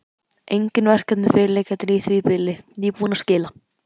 Engin verkefni fyrirliggjandi í því bili, nýbúinn að skila.